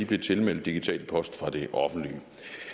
blev tilmeldt digital post og det offentlige